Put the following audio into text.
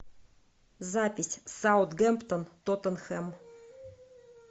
запись саутгемптон тоттенхэм